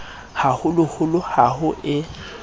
ha holoholo ha ho e